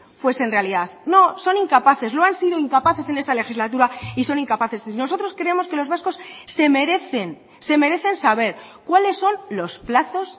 fuesen realidad no son incapaces lo han sido incapaces en esta legislatura y son incapaces nosotros creemos que los vascos se merecen se merecen saber cuáles son los plazos